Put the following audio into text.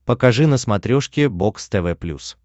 покажи на смотрешке бокс тв плюс